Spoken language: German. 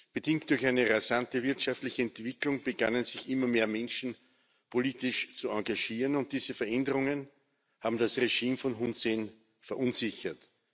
Bedingt durch eine rasante wirtschaftliche Entwicklung begannen immer mehr Menschen, sich politisch zu engagieren, und diese Veränderungen haben das Regime von Hun Sen verunsichert.